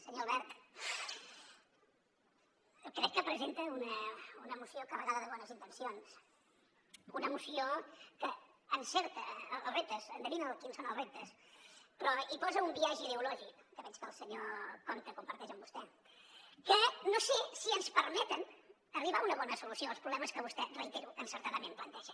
senyor albert crec que presenta una moció carregada de bones intencions una moció que encerta els reptes endevina quins són els reptes però hi posa un biaix ideològic que veig que el senyor compte comparteix amb vostè que no sé si ens permet arribar a una bona solució als problemes que vostè ho reitero encertadament planteja